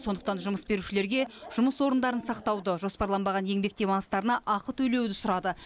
сондықтан жұмыс берушілерге жұмыс орындарын сақтауды жоспарланбаған еңбек демалыстарына ақы төлеуді сұрады